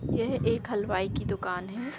यह एक हलवाई की दुकान है।